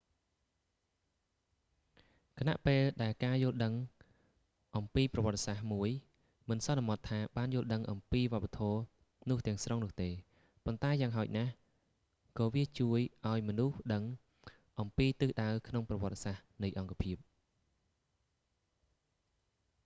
ខណៈពេលដែលការយល់ដឹងអំពីប្រវត្តិសាស្រ្តមួយមិនសន្មត់ថាបានយល់ដឹងអំពីវប្បធម៌នោះទាំងស្រុងនោះទេ ប៉ុន្តែយ៉ាងហោចណាស់ក៏វាជួយមនុស្សឱ្យដឹងអំពីទិសដៅក្នុងប្រវត្តិសាស្រ្តនៃអង្គភាព